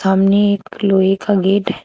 सामने एक लोहे का गेट है।